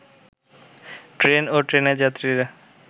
train ও ট্রেনের যাত্রীরা